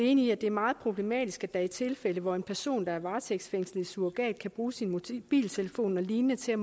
enige i at det er meget problematisk at der er tilfælde hvor en person der er varetægtsfængslet i surrogat kan bruge sin mobiltelefon og lignende til